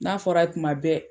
N'a fɔra ye tuma bɛɛ